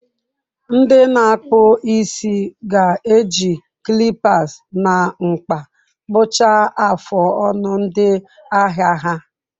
Ndị na-akpụ isi ga-eji clippers na mkpa kpụchaa afụ ọnụ ndị ahịa ha.